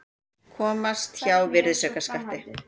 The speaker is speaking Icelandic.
Komast hjá virðisaukaskatti